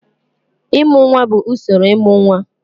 Ịmụ nwa bụ usoro ịmụ nwa.